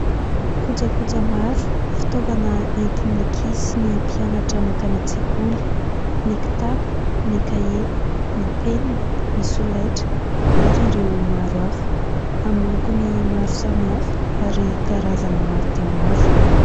Kojakoja maro, fitaovana entin'ny ankizy sy ny mpianatra makany an-tsekoly : ny kitapo, ny kahie, ny penina, ny solaitra ary ireo maro hafa amin'ny lokony maro samihafa ary karazany maro dia maro.